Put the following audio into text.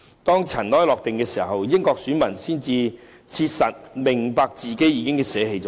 當塵埃落定後，英國選民才切實明白自己捨棄了甚麼。